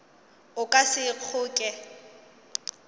o ka se e kgoke